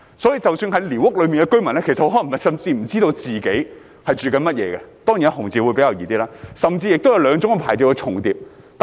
所以，即使寮屋居民也可能不知道自己的居所屬哪一種，甚至有兩種牌照重疊的情況。